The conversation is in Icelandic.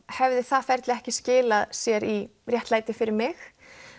hefði það ferli ekki skilað sér í réttlæti fyrir mig